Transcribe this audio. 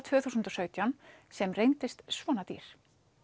tvö þúsund og sautján sem reyndist svona dýr